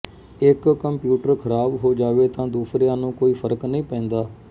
ਇਹ ਕੰਪਿਊਟਰ ਖ਼ਰਾਬ ਹੋ ਜਾਵੇ ਤਾ ਦੂਸਰਿਆਂ ਨੂੰ ਕੋਈ ਫ਼ਰਕ ਨਹੀਂ ਪੈਂਦਾ